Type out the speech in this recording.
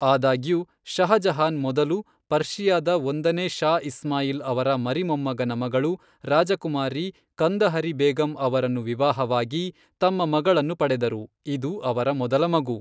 ಆದಾಗ್ಯೂ, ಷಹಜಹಾನ್ ಮೊದಲು, ಪರ್ಷಿಯಾದ ಒಂದನೇ ಷಾ ಇಸ್ಮಾಯಿಲ್ ಅವರ ಮರಿಮೊಮ್ಮಗನ ಮಗಳು, ರಾಜಕುಮಾರಿ ಕಂದಹರಿ ಬೇಗಂ ಅವರನ್ನು ವಿವಾಹವಾಗಿ ತಮ್ಮ ಮಗಳನ್ನು ಪಡೆದರು, ಇದು ಅವರ ಮೊದಲ ಮಗು.